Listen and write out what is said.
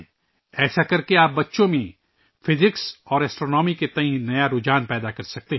ایسا کرنے سے آپ بچوں میں فزکس اور فلکیات کی طرف ایک نیا رجحان پیدا کر سکتے ہیں